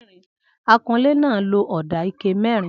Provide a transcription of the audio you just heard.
Akunlé náà lo ọ̀dà ike mẹ́rin?